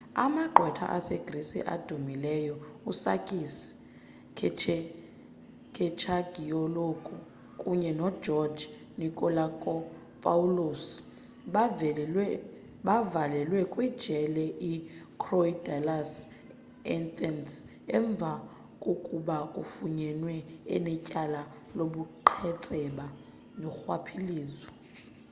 amagqwetha asegrisi adumileyo usakis kechagioglou kunye nogeorge nikolakopoulos bavalelwe kwijele ikorydallus eathens emva kokuba efunyenwe enetyala lobuqhetseba norhwaphilizo